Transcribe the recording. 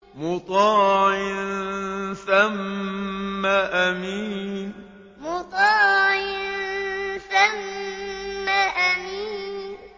مُّطَاعٍ ثَمَّ أَمِينٍ مُّطَاعٍ ثَمَّ أَمِينٍ